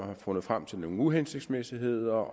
har fundet frem til nogle uhensigtsmæssigheder